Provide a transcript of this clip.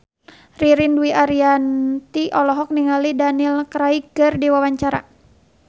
Ririn Dwi Ariyanti olohok ningali Daniel Craig keur diwawancara